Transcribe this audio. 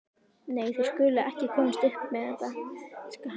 Nei, þeir skulu ekki komast upp með þetta, hann skal.